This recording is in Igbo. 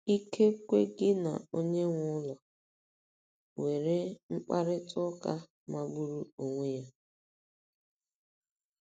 Ikekwe gị na onye nwe ụlọ nwere mkparịta ụka magburu onwe ya.